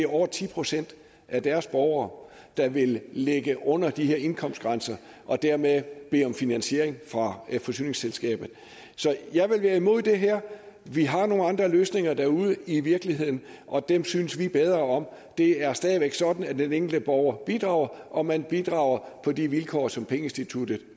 over ti procent af deres borgere der vil ligge under de her indkomstgrænser og dermed bede om finansiering af forsyningsselskabet jeg vil være imod det her vi har nogle andre løsninger derude i virkeligheden og dem synes vi bedre om det er stadig væk sådan at den enkelte borger bidrager og man bidrager på de vilkår som pengeinstituttet